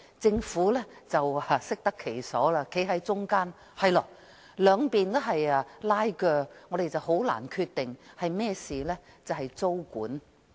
政府適得其所站在中間，指由於兩方正在拉鋸，因此難以作出決定。